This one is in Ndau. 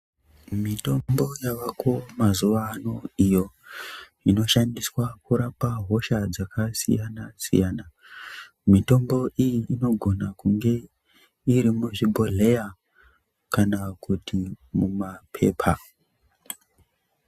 Mitombo yavako mazuva anoniyo inoshandiswa kurapa hosha dzakasiyana siyana mitombo iyi inogona kunge iri muzvibhodhleya kana kuti mumapepa